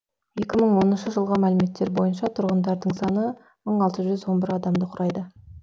екі мың оныншы жылғы мәліметтер бойынша тұрғындарының саны мың алты жүз он бір адамды құрайды